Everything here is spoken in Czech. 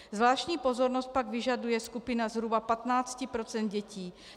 Zvláštní pozornost pak vyžaduje skupina zhruba 15 % dětí.